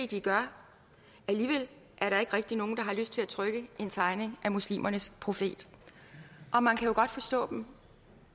de gør alligevel er der ikke rigtig nogen der har lyst til at trykke en tegning af muslimernes profet og man kan jo godt forstå dem